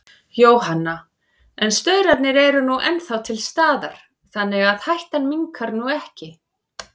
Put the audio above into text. Jóhanna: En staurarnir eru nú ennþá til staðar, þannig að hættan minnkar nú ekki?